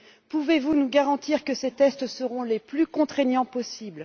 Pouvez vous nous garantir que ces tests seront les plus contraignants possible?